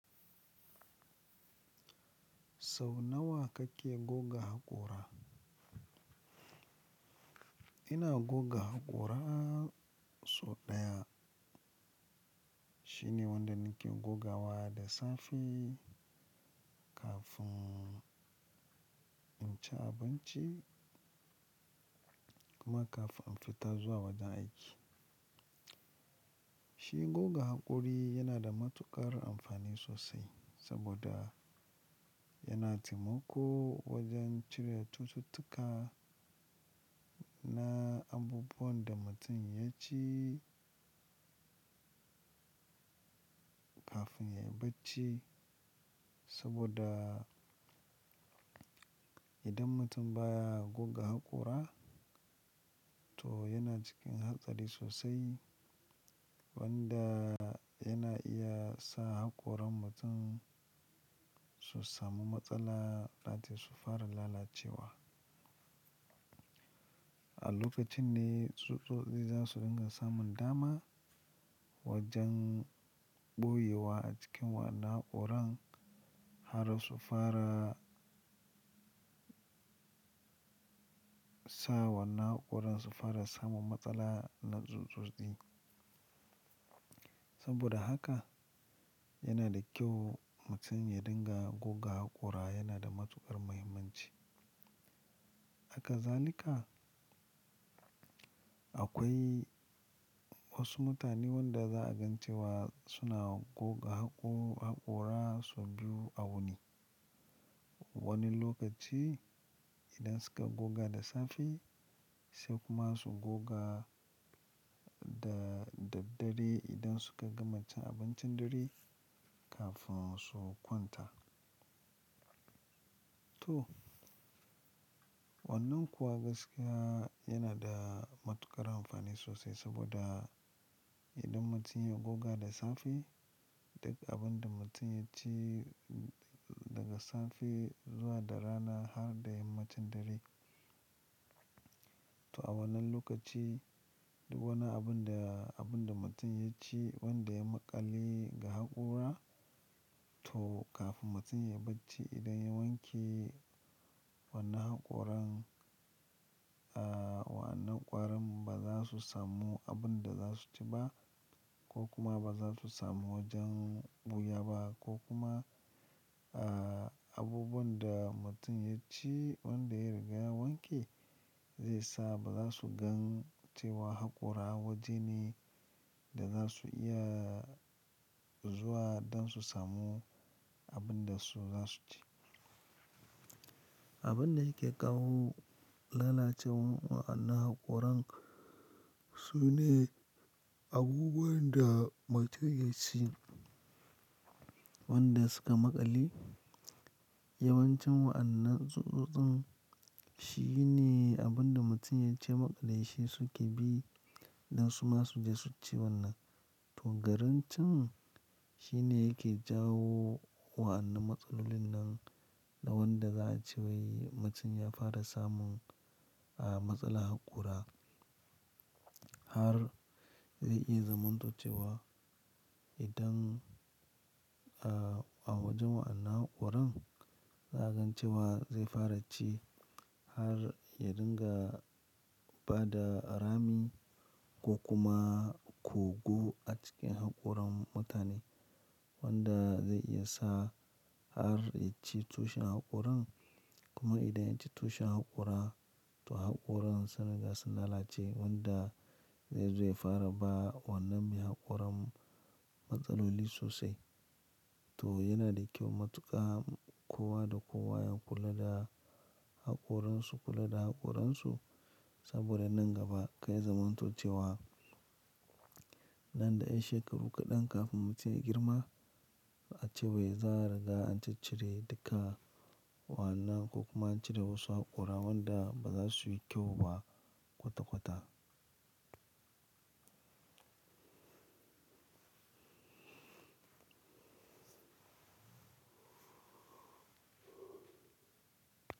Sau nawa kake goge haƙora? Ina goge haƙora sau ɗaya. Shine wanda nake goge wa da safe kafin in ci abinci kuma kafin in fita zuwa wajen aiki. Shi goge haƙora yana da matuƙar amfani sosai saboda yana taimakawa wajen cire cututtuka na abubuwan da mutum ya ci kafin ya yi bacci. Saboda idan mutum baya goga haƙora to yana cikin hatsari sosai wanda yana iya sa haƙoran mutum su samu matsala that is su fara lalacewa. A lokacin ne tsutsotsi za su rika samun dama wajen ɓoye wa a cikin waɗannan haƙoran har su fara sa wa'anna haƙoran su fara samun matsala na tsutsotsi. Saboda haka yana da kyau mutum ya rika goge haƙora yana da matuƙar muhimmanci. Hakazalika, akwai wasu mutane waɗanda za a ga cewa suna goge haƙora sau biyu a wuni. Wani lokaci idan suka goge da safe sai kuma su goga da daddare idan suka gama cin abincin dare kafin su kwanta. To wannan kuwa gaskiya yana da matuƙar amfani sosai saboda idan mutum ya goge da safe duk abin da mutum ya ci daga safe zuwa da rana har da yama da kuma dare. To a wannan lokaci duk wani abin da, abin da mutum ya ci wanda ya maƙale ga haƙora to kafin mutum ya bacci idan ya wanke wannan haƙoran, wannan ƙwarin ba za su samu abin da za su ci ba ko kuma ba za su samu wajen ɓoyewa ba ko kuma, abubuwan da mutum ya ci wanda ya riga ya wanke zai sa ba za su ga cewa haƙora waje ne da za su iya zuwa don su samu abin da su za su ci. Abin da yake kawo lalacewar wannan haƙoran sune abubuwan da mutum ya ci wanda suka maƙale. Yawancin waɗannan tsutsotsin sune abin da mutum ya ci ya maƙale shi suke bi don su ma su je su ci wannan. To garin ci shine yake jawo wadannan matsalolin na wanda za a ce wai mutum ya fara samun, matsalar haƙora har zai iya zama idan, a wajen waɗannan haƙoran za a ga cewa zai fara ci har ya rika ba da rami ko kuma kogo a cikin haƙoran mutane wanda zai iya sa har ya ci tushen haƙoran. Kuma idan ya ci tushen haƙora to haƙoran sun riga sun lalace wanda zai fara ba wannan mai haƙoran matsaloli sosai. To yana da kyau matuƙar kowa da kowa ya kula da haƙoransu, kula da haƙoransu saboda nan gaba karya zamanto ce wa nan da yan shekaru kaɗan kafin mutum ya girma a ce wai za a riga an ciccire duka wannan ko kuma an cire wasu haƙora wanda ba za su yi kyau ba kwata-kwata.